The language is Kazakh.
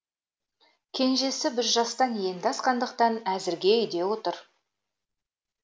кенжесі бір жастан енді асқандықтан әзірге үйде отыр